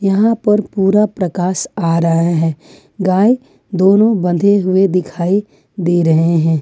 यहां पर पूरा प्रकाश आ रहा है गाय दोनों बंधे हुए दिखाई दे रहे हैं।